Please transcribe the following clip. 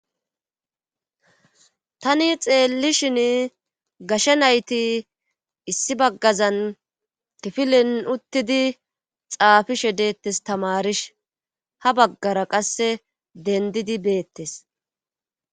Tani xeellishin gashe nayti issi baggazan kifilen uttidi xaafishe deettes tamarish ha baggara qasse dendidi beettes.